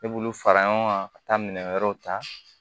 Ne b'olu fara ɲɔgɔn kan ka taa minɛn wɛrɛw ta